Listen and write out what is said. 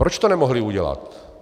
Proč to nemohli udělat?